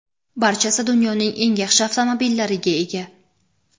barchasi dunyoning eng yaxshi avtomobillariga ega.